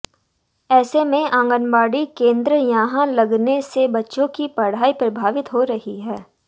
ऐसे में आंगनबाड़ी केन्द्र यहां लगने से बच्चों की पढ़ाई प्रभावित हो रही है